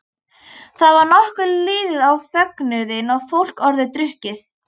Þá var nokkuð liðið á fögnuðinn og fólk orðið drukkið.